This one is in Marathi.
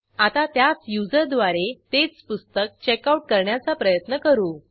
आता त्याच युजर द्वारे तेच पुस्तक चेकआउट करण्याचा प्रयत्न करू